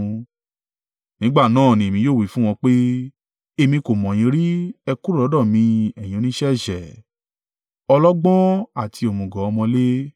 Nígbà náà ni èmi yóò wí fún wọn pé, ‘Èmi kò mọ̀ yín rí, ẹ kúrò lọ́dọ̀ mi ẹ̀yin oníṣẹ́ ẹ̀ṣẹ̀.’